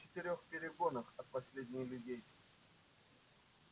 это в четырёх перегонах от последних людей